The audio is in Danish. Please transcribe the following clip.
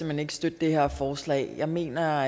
hen ikke støtte det her forslag jeg mener